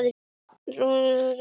Þín frænka, Lovísa Ósk.